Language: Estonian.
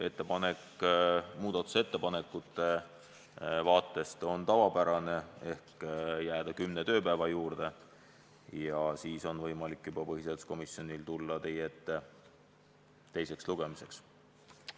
Ettepanek muudatusettepanekute vaatest on tavapärane: jääda kümne tööpäeva juurde, siis on võimalik põhiseaduskomisjonil tulla teie ette juba teiseks lugemiseks.